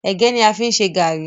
Ẹ̀gẹ́ ní a fi ń ṣe gàrí.